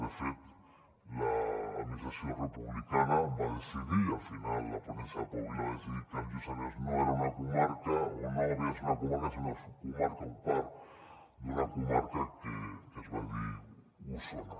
de fet l’administració republicana va decidir i al final la ponència de pau vila va decidir que el lluçanès no era una comarca o no havia de ser una comarca sinó una subcomarca o part d’una comarca que es va dir osona